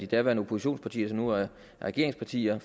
daværende oppositionspartier som nu er regeringspartier